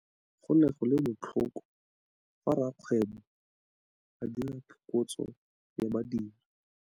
Go ne go le botlhoko fa rakgweebô a dira phokotsô ya badiri.